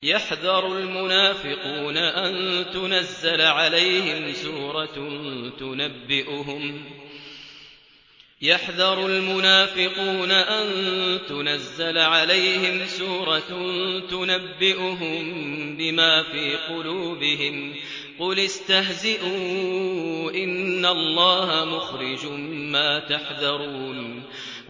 يَحْذَرُ الْمُنَافِقُونَ أَن تُنَزَّلَ عَلَيْهِمْ سُورَةٌ تُنَبِّئُهُم بِمَا فِي قُلُوبِهِمْ ۚ قُلِ اسْتَهْزِئُوا إِنَّ اللَّهَ مُخْرِجٌ مَّا تَحْذَرُونَ